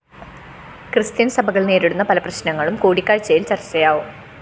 Christian സഭകള്‍ നേരിടുന്ന പല പ്രശ്നങ്ങളും കൂടിക്കാഴ്ചയില്‍ ചര്‍ച്ചയാവും